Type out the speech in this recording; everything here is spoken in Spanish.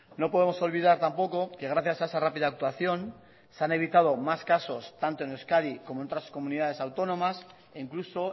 no podemos olvidar tampoco que gracias a esa rápida actuación se han evitado más casos tanto en euskadi como en otras comunidades autónomas e incluso